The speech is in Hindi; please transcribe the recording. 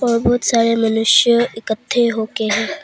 और बहुत सारे मनुष्य इकट्ठे होके हैं।